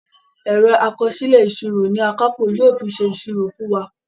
Ẹ̀rọ àkọsílẹ̀ ìsírò ní Akápò yóò fí ṣe ìsírò fún wá.